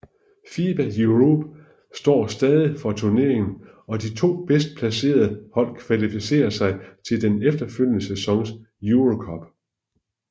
FIBA Europe står stadig for turneringen og de to bedst placerede hold kvalificerer sig til den efterfølgende sæsons EuroCup